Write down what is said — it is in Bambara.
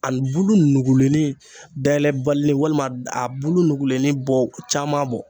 A bulu nugulennin dayɛlɛbalilinin walima a bulu nugulenni bɔ caman bɔ